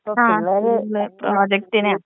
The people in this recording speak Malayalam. ആ *നോട്ട്‌ ക്ലിയർ* പ്രോജക്ടിനാ.